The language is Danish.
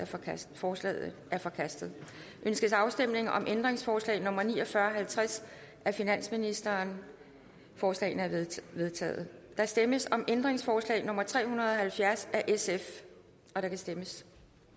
forkastet forslaget er forkastet ønskes afstemning om ændringsforslag nummer ni og fyrre og halvtreds af finansministeren forslagene er vedtaget der stemmes om ændringsforslag nummer tre hundrede og halvfjerds af sf og der kan stemmes